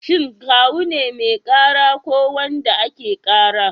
Shin Kawu ne mai ƙara ko wanda ake ƙara?